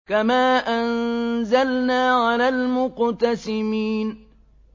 كَمَا أَنزَلْنَا عَلَى الْمُقْتَسِمِينَ